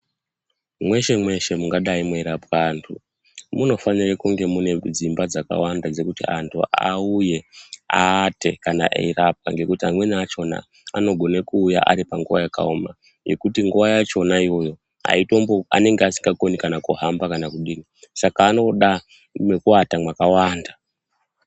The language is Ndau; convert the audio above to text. Mweshe mweshe mungadai meirapwa vantu munofanira kunge mune dzimba dzakawanda dzekuti antu auye eirapwa ngekuti antu akona anogona kuuya panguwa yakaoma ngekuti nguwa yachona iyoyo anenge asingakoni kuhamba kana kudi Saka anoda mekuwata makawanda.